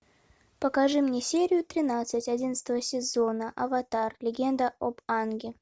покажи мне серию тринадцать одинадцатого сезона аватар легенда об анге